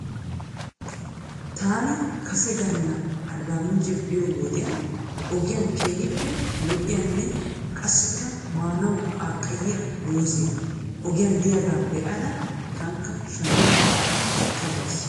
Taani kase gala arbaamincce biyoo wodiyan ogiyan keehippe lo"iyaane qassikka maanaw qaaqayiyaa muuzee ogiyan diyaagaa be'ada tankka shammada ekka bas.